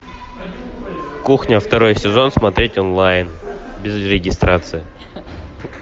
кухня второй сезон смотреть онлайн без регистрации